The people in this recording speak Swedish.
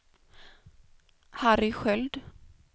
Harry Sköld